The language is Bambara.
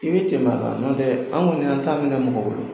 I bɛ tɛmɛ a kan, n'o tɛ an kɔni y'an ta minɛ mɔgɔ bolo.